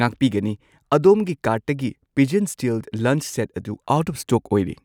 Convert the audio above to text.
ꯉꯥꯛꯄꯤꯒꯅꯤ, ꯑꯗꯣꯝꯒꯤ ꯀꯥꯔꯠꯇꯒꯤ ꯄꯤꯖꯟ ꯁ꯭ꯇꯤꯜ ꯂꯟꯆ ꯁꯦꯠ ꯑꯗꯨ ꯑꯥꯎꯠ ꯑꯣꯐ ꯁ꯭ꯇꯣꯛ ꯑꯣꯏꯔꯦ꯫